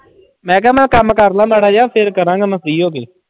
ਮੈਂ ਕਿਹਾ ਮੈਂ ਕੰਮ ਕਰ ਲਵਾਂ ਮਾੜਾ ਜਿਹਾ ਫਿਰ ਕਰਾਂਗਾ ਮੈਂ free ਹੋ ਕੇ।